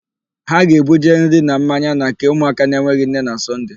Ha ga-ebuje nri na mmanya na nke ụmụaka enweghị nne na Sọnde.